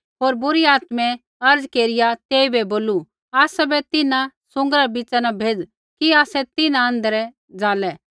होर बुरी आत्मै अर्ज़ केरिया तेइबै बोलू आसाबै तिन्हां सूँगरा रै बिच़ा न भेज़ कि आसै तिन्हां आँध्रै ज़ालै